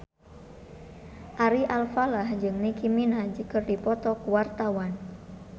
Ari Alfalah jeung Nicky Minaj keur dipoto ku wartawan